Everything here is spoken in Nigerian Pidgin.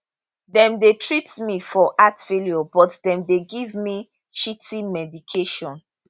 dem dey treat me for heart failure but dem dey give me shitty medication